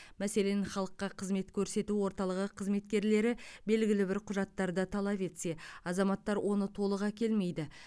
мәселен халыққа қызмет көрсету орталығы қызметкерлері белгілі бір құжаттарды талап етсе азаматтар оны толық әкелмейді